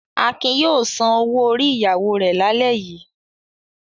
Akin yóò san owó-orí ìyàwó rẹ̀ lálẹ́ yìí.